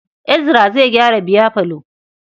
Ezra zai gyara biyafalon.